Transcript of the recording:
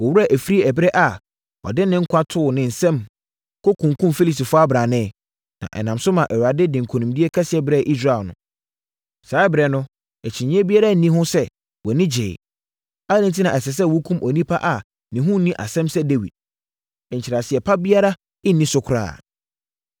Wo werɛ afiri ɛberɛ a ɔde ne nkwa too ne nsam, kɔkumm Filistini ɔbrane, na ɛnam so maa Awurade de nkonimdie kɛseɛ brɛɛ Israel no? Saa ɛberɛ no, akyinnyeɛ biara nni ho sɛ, wʼani gyeeɛ. Adɛn enti na ɛsɛ sɛ wokum onipa a ne ho nni asɛm sɛ Dawid? Nkyerɛaseɛ pa biara nni so koraa.”